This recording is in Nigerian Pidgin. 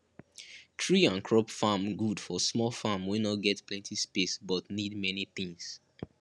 tree and crop farm good for small farm wey no get plenty space but need many things